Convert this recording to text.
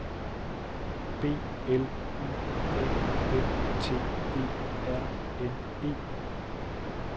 B L Y A N T E R N E